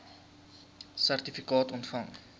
sertifikaat ontvang